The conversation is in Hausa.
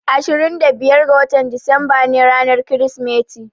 Ashirin da biyar ga watan Disamba ne ranar Kirsimeti.